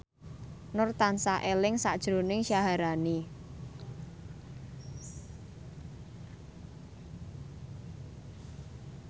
Nur tansah eling sakjroning Syaharani